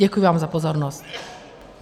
Děkuji vám za pozornost.